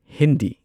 Hindi